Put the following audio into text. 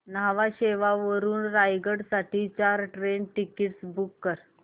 न्हावा शेवा वरून रायगड साठी चार ट्रेन टिकीट्स बुक कर